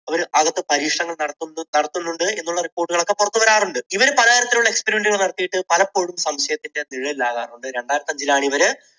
അവർ അകത്ത് പരീക്ഷണങ്ങൾ നടത്തുന്നു~ നടത്തുന്നുണ്ട് ഇത് ഉള്ള report കൾ ഒക്കെ പുറത്തു വരാറുണ്ട്. ഇവർ പലതരത്തിലുള്ള experiment കൾ ഒക്കെ നടത്തിയിട്ട് പലപ്പോഴും സംശയത്തിന്റെ നിഴലിൽ ആകാറുണ്ട്. രണ്ടായിരത്തഞ്ചിലാണ് ഇവർ